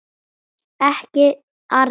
Ekki arða.